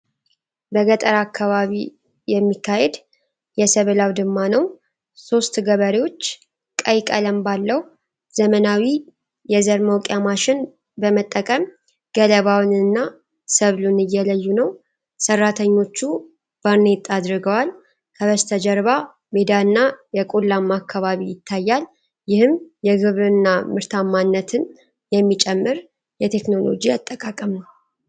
በገጠር አካባቢ የሚካሄድ የሰብል አውድማ ነው። ሦስት ገበሬዎች ቀይ ቀለም ባለው ዘመናዊ የዘር መውቂያ ማሽን በመጠቀም ገለባውንና ሰብሉን እየለዩ ነው። ሠራተኞቹ ባርኔጣ አድርገዋል፤ ከበስተጀርባ ሜዳና የቆላማ አካባቢ ይታያል። ይህም የግብርና ምርታማነትን የሚጨምር የቴክኖሎጂ አጠቃቀም ነው።